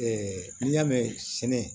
n'i y'a mɛn sɛnɛ